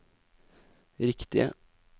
riktige